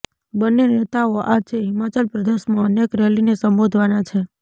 બન્ને નેતાઓ આજે હિમાચલ પ્રદેશમાં અનેક રેલીને સંબોધવાના છે